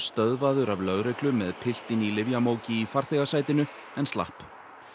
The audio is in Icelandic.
stöðvaður af lögreglu með piltinn í lyfjamóki í farþegasætinu en sloppið